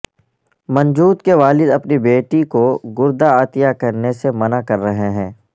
منجوت کے والد اپنی بیٹی کو گردہ عطیہ کرنے سے منع کر رہے ہیں